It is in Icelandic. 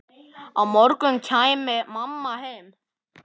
Á morgun kæmi mamma heim.